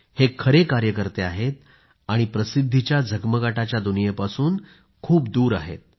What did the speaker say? हे खरे कार्यकर्ते असून प्रसिद्धीच्या झगमगाटाच्या दुनियेपासून खूप दूर आहेत